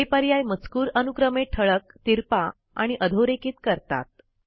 हे पर्याय मजकूर अनुक्रमे ठळक तिरपा किंवा अधोरेखित करतात